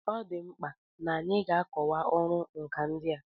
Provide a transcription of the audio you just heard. Ọ dị mkpa n'anyị ga-akọwa ọrụ nkà ndị a.